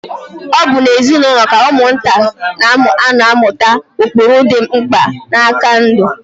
Ọ bụ n'ezinaụlọ ka ụmụaka na-anọ amụta ụkpụrụ dị mkpa na nka ndụ.